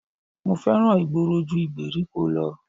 Mo fẹ́ràn ìgboro ju ìgbèríko lọ